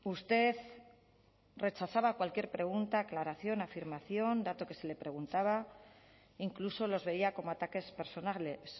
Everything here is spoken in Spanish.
usted rechazaba cualquier pregunta aclaración afirmación dato que se le preguntaba incluso los veía cómo ataques personales